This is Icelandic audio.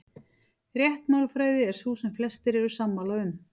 Rétt málfræði er sú sem flestir eru sammála um.